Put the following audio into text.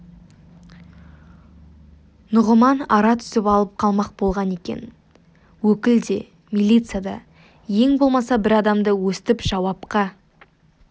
нұғыман ара түсіп алып қалмақ болған екен өкіл де милиция да ең болмаса бір адамды өстіп жауапқа